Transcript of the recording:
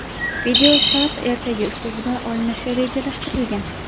Video Sharq ertagi uslubida olinishi rejalashtirilgan.